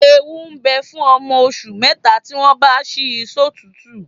Ewu ń bẹ fún ọmọ oṣù mẹ́ta tí wọ́n bá ṣí sọ́tùútù